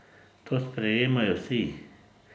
To sprejemajo vsi.